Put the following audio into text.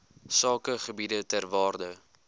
sakegebiede ter waarde